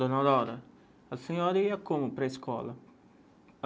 Dona Aurora, a senhora ia como para a escola?